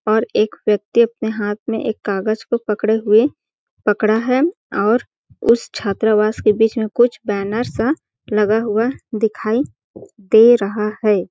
और एक व्यक्त्ति अपने हाथ में एक कागज को पकड़े हुए पकड़ा है और उस छात्रावास के बीच में कुछ बैनर्स सा लगा हुआ दिखाई दे रहा हैं ।